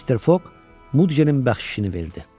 Mister Foq Mudqenin bəxşişini verdi.